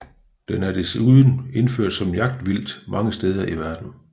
Den er desuden indført som jagtvildt mange steder i verden